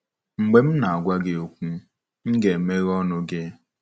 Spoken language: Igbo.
Mgbe m na-agwa gị okwu, m ga-emeghe ọnụ gị.”